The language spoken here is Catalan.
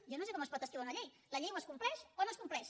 jo no sé com es pot esquivar una llei la llei o es compleix o no es compleix